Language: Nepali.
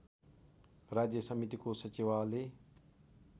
राज्य समितिको सचिवालय